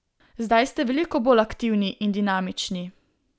Zdaj ste veliko bolj aktivni in dinamični.